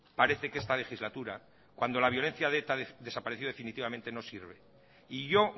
parece que esta legislatura cuando la violencia de eta desapareció definitivamente no sirve y yo